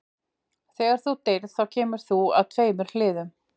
Þegar þú deyrð þá kemur þú að tveimur hliðum.